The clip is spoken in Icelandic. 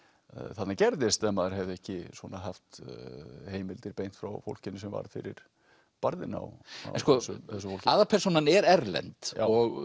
þarna gerðist ef maður hefði ekki svona haft heimildir beint frá fólkinu sem varð fyrir barðinu á þessu fólki aðalpersónan er erlend og